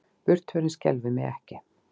Burtförin skelfir mig ekki.